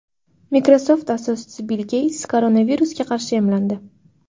Microsoft asoschisi Bill Geyts koronavirusga qarshi emlandi.